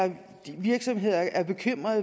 jeg